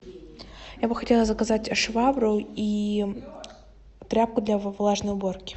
я бы хотела заказать швабру и тряпку для влажной уборки